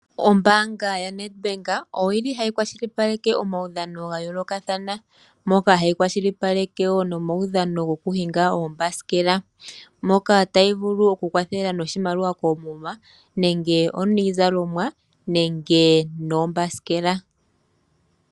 Ombaanga YaNEDBANK, oyili hayi kwashilipaleke omaudhano ga yoolokathana. Moka hayi kwashilipaleke wo nomaudhano gokuhinga uuthanguthangu. Moka tayi vulu okukwathela wo noshimaliwa koomuma, nenge iizalomwa, noshowo uuthanguthangu.